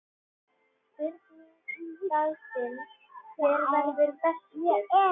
Spurning dagsins: Hver verður bestur?